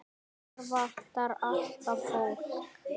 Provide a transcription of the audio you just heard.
Hér vantar alltaf fólk.